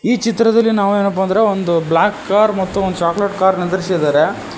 ಈ ಚಿತ್ರದಲ್ಲಿ ನಾವು ಏನಪ್ಪಾ ಅಂದ್ರೆ ಒಂದು ಬ್ಲಾಕ್ ಕಾರ್ ಮತ್ತು ಒಂದು ಚಾಕ್ಲೇಟ್ ಕಾರ್ ನಿಂದ್ರಿಸಿದ್ದಾರೆ.